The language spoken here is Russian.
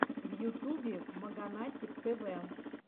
в ютубе маганатик тв